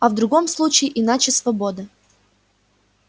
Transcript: а в другом случае иначе свобода